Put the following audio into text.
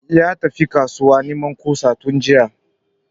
Ya tafi kasuwa neman kusa tun jiya